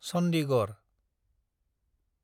Chandigarh